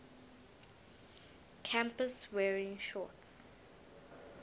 campus wearing shorts